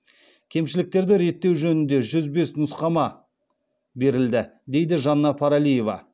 кемшіліктерді реттеу жөнінде жүз бес нұсқама берілді дейді жанна паралиева